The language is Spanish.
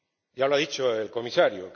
Ya lo ha dicho el Comisario.